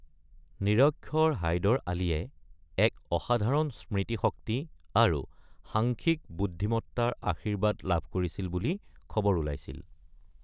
নিৰক্ষৰ হাইদৰ আলীয়ে এক অসাধাৰণ স্মৃতি শক্তি আৰু সাংখ্যিক বুদ্ধিমত্তাৰ আশীৰ্বাদ লাভ কৰিছিল বুলি খবৰ ওলাইছিল।